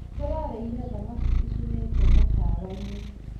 Tũrarĩire thamaki icinĩtwo mũkawa-inĩ